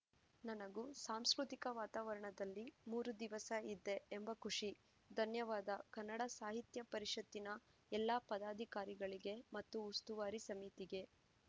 ನನಗೂ ಸಾಂಸ್ಕೃತಿಕ ವಾತಾವರಣದಲ್ಲಿ ಮೂರು ದಿವಸ ಇದ್ದೆ ಎಂಬ ಖುಷಿ ಧನ್ಯವಾದ ಕನ್ನಡ ಸಾಹಿತ್ಯ ಪರಿಷತ್ತಿನ ಎಲ್ಲ ಪದಾಧಿಕಾರಿಗಳಿಗೆ ಮತ್ತು ಉಸ್ತುವಾರಿ ಸಮಿತಿಗೆ